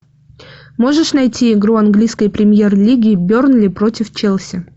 можешь найти игру английской премьер лиги бернли против челси